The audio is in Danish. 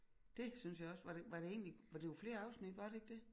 Det synes jeg også var det var det egentlig var det var flere afsnit var det ikke det